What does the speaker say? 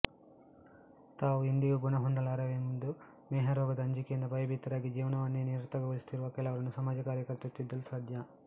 ತಾವು ಎಂದಿಗೂ ಗುಣಹೊಂದಲಾರೆವೆಂದು ಮೇಹರೋಗದ ಅಂಜಿಕೆಯಿಂದ ಭಯಭೀತರಾಗಿ ಜೀವವನ್ನೇ ನಿರರ್ಥಕಗೊಳಿಸುತ್ತಿರುವ ಕೆಲವರನ್ನು ಸಮಾಜ ಕಾರ್ಯಕರ್ತರು ತಿದ್ದಲು ಸಾಧ್ಯ